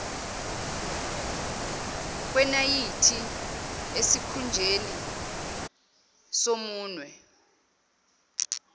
kwenayithi esikhunjeni somunwe